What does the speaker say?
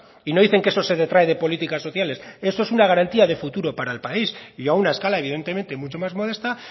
y no dicen que eso se detrae de políticas sociales esto es una garantía de futuro para el país y a una escala evidentemente mucho más modesta